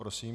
Prosím.